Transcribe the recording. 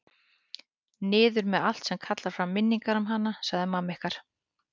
Niður með allt sem kallar fram minningar um hana, sagði mamma ykkar.